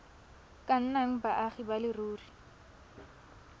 ka nnang baagi ba leruri